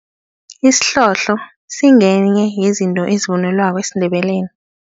Isihlohlo singenye yezinto ezivunulwako esiNdebeleni.